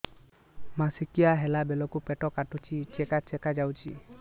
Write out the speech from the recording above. ମାସିକିଆ ହେଲା ବେଳକୁ ପେଟ କାଟୁଚି ଚେକା ଚେକା ଯାଉଚି